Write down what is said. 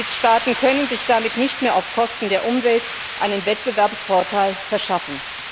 Mitgliedstaaten können sich damit nicht mehr auf Kosten der Umwelt einen Wettbewerbsvorteil verschaffen.